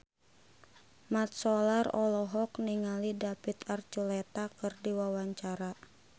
Mat Solar olohok ningali David Archuletta keur diwawancara